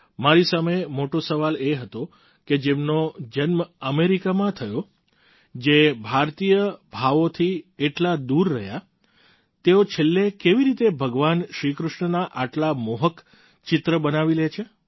મારી સામે મોટો સવાલ એ હતો કે જેમનો જન્મ અમેરિકામાં થયો જે ભારતીય ભાવોથી આટલા દૂર રહ્યા તેઓ છેલ્લે કેવી રીતે ભગવાન શ્રી કૃષ્ણના આટલા મોહક ચિત્ર બનાવી લે છે